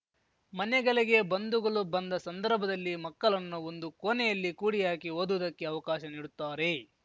ಮನೆಗಲಿಗೆ ಬಂಧುಗಲು ಬಂದ ಸಂದರ್ಭದಲ್ಲಿ ಮಕ್ಕಲನ್ನು ಒಂದು ಕೋನೆಯಲ್ಲಿ ಕೂಡಿಹಾಕಿ ಓದುವುದಕ್ಕೆ ಅವಕಾಶ ನೀಡುತ್ತಾರೆ